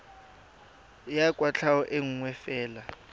ya kwatlhao e nngwe fela